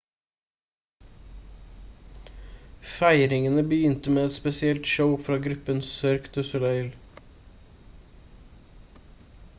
feiringene begynte med et spesielt show fra gruppen cirque du soleil